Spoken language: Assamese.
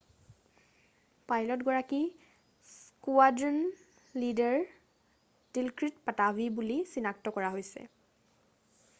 পাইলটগৰাকী স্কুৱাড্ৰন লীডাৰ ডিলক্ৰিট পাটাভি বুলি চিনাক্ত কৰা হৈছে